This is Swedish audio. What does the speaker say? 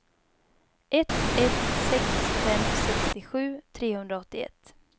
ett ett sex fem sextiosju trehundraåttioett